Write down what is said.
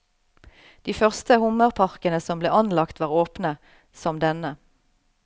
De første hummerparkene som ble anlagt var åpne, som denne.